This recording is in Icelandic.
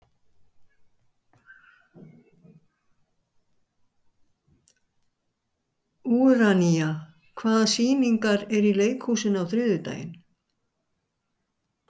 Úranía, hvaða sýningar eru í leikhúsinu á þriðjudaginn?